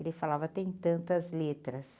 Ele falava, tem tantas letras.